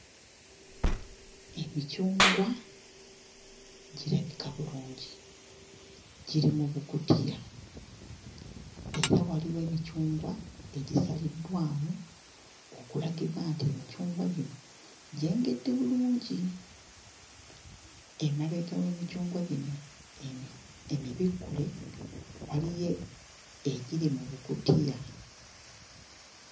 Emicungwa girabika bulungi, giri mu bukutiya, era waliwo emicungwa egisaliddwamu okulagibwa nti emicungwa gino gyengedde bulungi. Emabega w'emicungwa gino emi emibikkule waliyo egiri mu bukutiya.